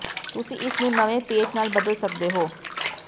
ਤੁਸੀਂ ਇਸ ਨੂੰ ਨਵੇਂ ਪੈਚ ਨਾਲ ਬਦਲ ਸਕਦੇ ਹੋ